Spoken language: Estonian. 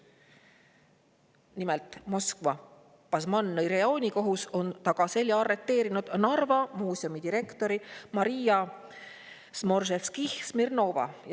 Nimelt, Moskva Basmannõi rajoonikohus on tagaselja arreteerinud Narva muuseumi direktori Maria Smorževskihh-Smirnova.